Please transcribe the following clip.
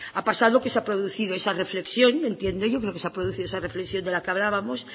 ha pasado que se ha producido esa reflexión entiendo yo que se ha producido esa reflexión de la que hablábamos